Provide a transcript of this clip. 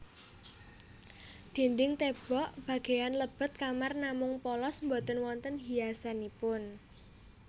Dinding tèmbok bagéyan lebet kamar namung polos boten wonten hiasanipun